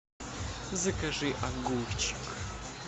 закажи огурчик